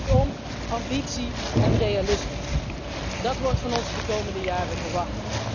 Kortom, ambitie en realisme, dat wordt van ons de komende jaren verwacht.